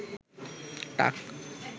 টাক